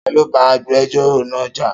Ta ló bá agbẹjọ́rọ̀ náà jà?